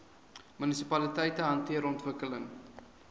munisipaliteite hanteer ontwikkeling